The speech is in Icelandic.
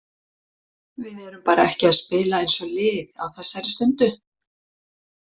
Við erum bara ekki að spila eins og lið á þessari stundu.